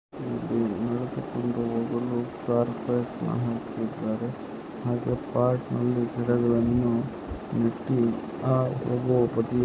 ನಡೆದುಕೊಂಡು ಹೋಗಲು ಕಾರ್ಪೆಟ್ ನಾ ಹಾಕಿದಾರೆ ಹಾಗೆ ಪಾಟ್ನಲ್ಲಿ ಗಿಡಗಳನ್ನು ನೆಟ್ಟಿ ಆ ಹೋಗೋ ಬದಿಯಲ್ಲಿ